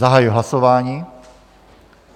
Zahajuji hlasování.